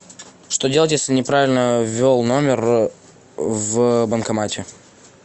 что делать если неправильно ввел номер в банкомате